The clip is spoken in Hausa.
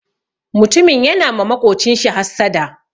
Mutumin yana ma maƙocinshi hassada.